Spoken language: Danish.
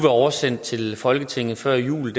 oversendt til folketinget før jul